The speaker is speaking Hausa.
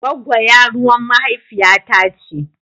Gwagggo yaruwan mahaifiya ta ce.